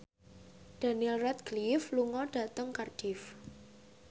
Daniel Radcliffe lunga dhateng Cardiff